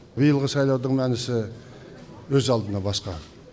биылғы сайлаудың мәнісі өз алдына басқа